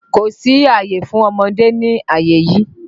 Kò sí àyè fún ọmọdé ní àyè yí!